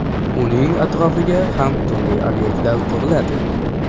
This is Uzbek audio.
Uning atrofiga ham turli obyektlar quriladi.